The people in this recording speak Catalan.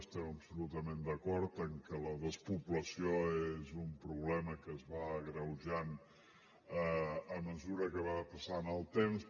estem absolutament d’acord en que la despoblació és un problema que es va agreujant a mesura que va passant el temps